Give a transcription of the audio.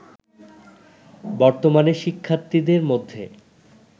বর্তমানে শিক্ষার্থীদের মধ্যে